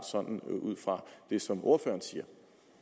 sådan ud fra det som ordføreren siger